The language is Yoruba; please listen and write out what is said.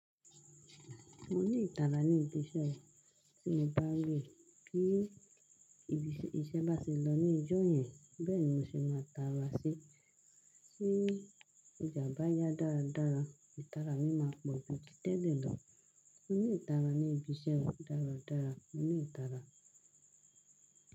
Mo ní ìtara ní ibi iṣẹ́ mi, tí mo bá rí pé ìṣe bá se lọ ní ọjọ yẹn, bẹ́ẹ̀ ni mo ṣe máa tara sí. Tí ọjà bá yá dáradára, ìtara mi máa pọ̀ ju títẹ̀lẹ̀ lọ. Mo ní ìtara ní ibi iṣẹ́ mi dáradára, mo ní ìtara.